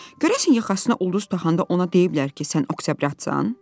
Görəsən yaxasına ulduz taxanda ona deyiblər ki, sən oktyabratsan?